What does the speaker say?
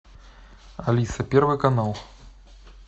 алиса первый канал